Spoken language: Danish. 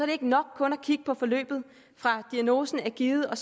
det ikke nok kun at kigge på forløbet fra diagnosen er givet og